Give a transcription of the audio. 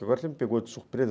Agora você me pegou de surpresa.